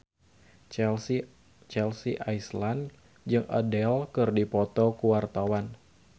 Chelsea Islan jeung Adele keur dipoto ku wartawan